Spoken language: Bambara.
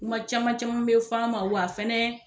Kuma caman caman me fɔ an ma wa fɛɛnɛ